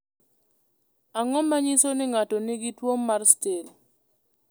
Ang’o ma nyiso ni ng’ato nigi tuwo mar Still?